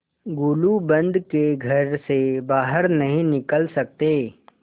गुलूबंद के घर से बाहर नहीं निकल सकते